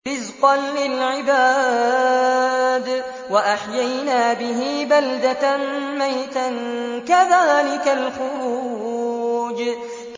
رِّزْقًا لِّلْعِبَادِ ۖ وَأَحْيَيْنَا بِهِ بَلْدَةً مَّيْتًا ۚ كَذَٰلِكَ الْخُرُوجُ